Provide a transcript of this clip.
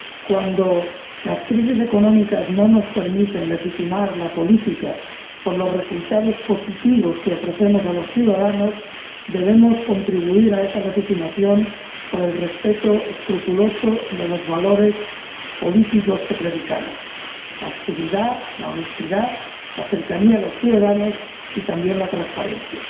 Cuando las crisis económicas no nos permiten legitimar la política por los resultados positivos que ofrecemos a los ciudadanos, debemos contribuir a esa legitimación por el respeto escrupuloso de los valores políticos que predicamos la austeridad, la honestidad, la cercanía a los ciudadanos y también la transparencia.